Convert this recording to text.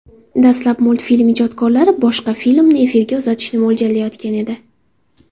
Dastlab multfilm ijodkorlari boshqa qismni efirga uzatishni mo‘ljallayotgan edi.